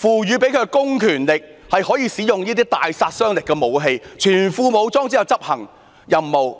獲賦的公權力，可以使用大殺傷力武器，在全副武裝下執行任務。